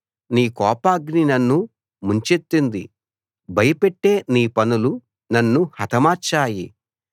నీ కోపాగ్ని నన్ను ముంచెత్తింది భయపెట్టే నీ పనులు నన్ను హతమార్చాయి